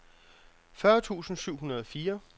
fyrre tusind syv hundrede og fire